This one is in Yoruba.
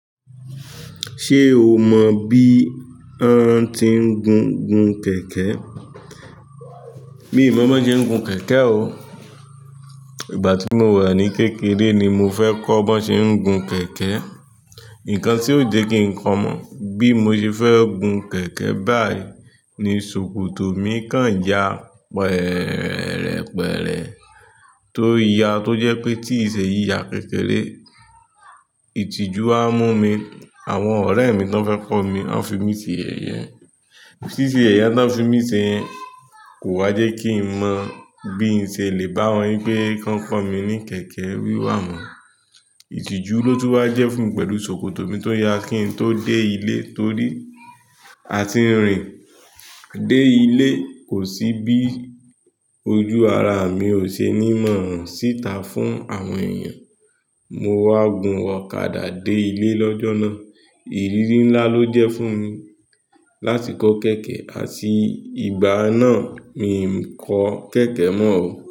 Ṣé o mọ bí ọn tí ń gun gun kẹ̀kẹ́? Mii mọ bọ ṣe ń gun kẹ̀kẹ́ o. Ìgbà tí mo wà ní kékeré ni mo fẹ́ kọ́ bọ ṣe ń gun kẹ̀kẹ́. Nǹkan tí ò jẹ kí n kọ́ mọ̀ bí mo ṣe fẹ́ gun kẹ̀kẹ́ báyìí ni ṣòkòtò mi kan ya pẹ́rẹ́pẹ́rẹ́ tó ya tó jẹ́ pé tí ìṣẹ́ yìí ya kékeré, ìtìjú á mú mi. Àwọn ọ̀rẹ́ mi tọ́n fẹ́ kọ́ mi, wọ́n fi mí sè ẹyẹ. Sìsẹ́ yẹyẹ tọ n fi mí ṣe yẹn kò wá jẹ́ kí n mọ bí n ṣe lè bá wọn wi pé kan kọ́ mi ní kẹ̀kẹ́ wíwà mọ́. Ìtìjú ló tú wá jẹ́ fún mi pẹ̀lú ṣòkòtò mi tó ya kí n tó dé ilé torí a ti ń rìn dé ilé, kò sí bí ojú ara mi ò ṣe ní mọ̀ hán síta fún àwọn èèyàn. Mo wá gun ọ̀kadà dé ilé lọ́jọ́ náà. Ìrírí ńlá ló jẹ́ fún mi láti kọ́ kẹ̀kẹ́, àti ìgbà náà mi ò kọ́ kẹ̀kẹ́ mọ́ o.